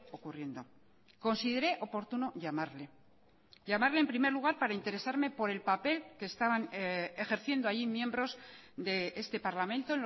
ocurriendo consideré oportuno llamarle llamarle en primer lugar para interesarme por el papel que estaban ejerciendo allí miembros de este parlamento